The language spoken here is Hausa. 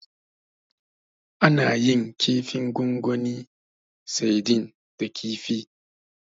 Ana yin kifin gongoni Saidin da kifi ne.